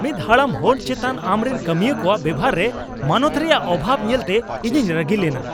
ᱢᱤᱫ ᱦᱟᱲᱟᱢ ᱦᱚᱲ ᱪᱮᱛᱟᱱ ᱟᱢᱨᱮᱱ ᱠᱟᱹᱢᱤᱭᱟᱹ ᱠᱚᱣᱟᱜ ᱵᱮᱣᱦᱟᱨ ᱨᱮ ᱢᱟᱱᱚᱛ ᱨᱮᱭᱟᱜ ᱚᱵᱷᱟᱵᱽ ᱧᱮᱞᱛᱮ ᱤᱧᱤᱧ ᱨᱟᱹᱜᱤ ᱞᱮᱱᱟ ᱾